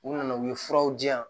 U nana u ye furaw di yan